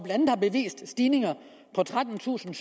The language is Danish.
vist stigninger på trettentusinde